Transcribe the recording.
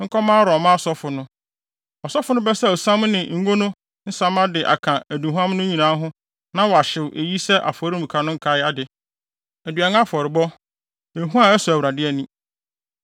nkɔma Aaron mma asɔfo no. Ɔsɔfo no bɛsaw siam ne ngo no nsa mma de aka aduhuam no nyinaa ho na wahyew eyi sɛ afɔremuka no nkae ade, aduan afɔrebɔ, ehua a ɛsɔ Awurade ani.